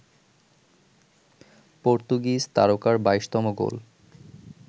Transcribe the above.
Portuguese তারকার ২২তম গোল